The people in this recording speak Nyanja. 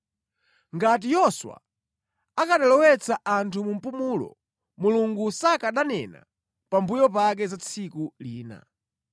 Ngati Yoswa akanalowetsa anthu mu mpumulo, Mulungu sakananena pambuyo pake za tsiku lina.